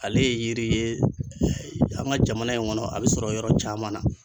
Ale ye yiri ye an ka jamana in kɔnɔ a bi sɔrɔ yɔrɔ caman na.